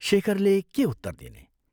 " शेखरले के उत्तर दिने?